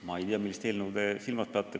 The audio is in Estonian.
Ma ei tea, millist eelnõu te silmas peate.